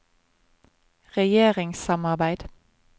regjeringssamarbeid